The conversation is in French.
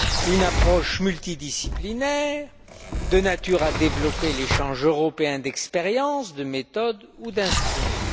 une approche multidisciplinaire de nature à développer l'échange européen d'expériences, de méthodes ou d'instruments.